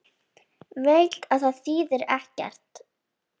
Veit að það þýðir ekkert.